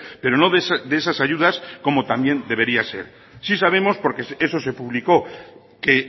pero no de esas ayudas como también debería ser sí sabemos porque eso se publicó que